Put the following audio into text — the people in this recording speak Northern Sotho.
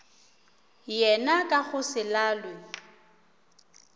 yena ka go se lalwe